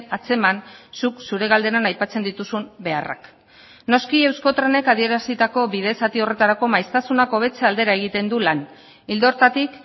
atzeman zuk zure galderan aipatzen dituzun beharrak noski euskotrenek adierazitako bide zati horretarako maiztasunak hobetze aldera egiten du lan ildo horretatik